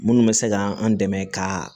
Minnu bɛ se ka an dɛmɛ ka